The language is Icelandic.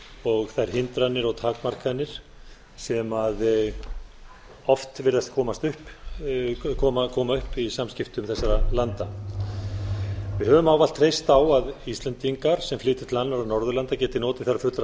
og þær hindranir og takmarkanir sem oft virðast koma upp í samskiptum þessara landa við höfum ávallt treyst á að íslendingar sem flytja til annarra norðurlanda geti notið þar fullra